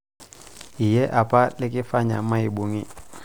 iyie apa lekifanya maibung'i